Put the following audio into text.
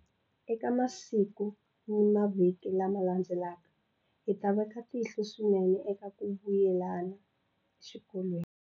Eka masiku ni mavhiki lama landzelaka, hi ta veka tihlo swinene eka ku vuyela exikolweni.